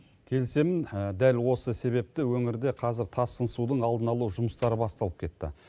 келісемін дәл осы себепті өңірде қазір тасқын судың алдын алу жұмыстары басталып кетті